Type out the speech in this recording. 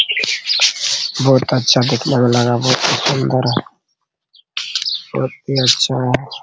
बहुत अच्छा देखने में लगा बहुत ही सुन्दर है बहुत ही अच्छा है ।